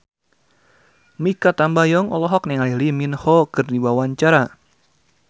Mikha Tambayong olohok ningali Lee Min Ho keur diwawancara